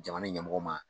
Jamana ɲɛmɔgɔ ma